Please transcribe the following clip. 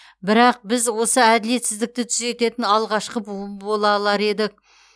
бірақ біз осы әділетсіздікті түзететін алғашқы буын бола алар едік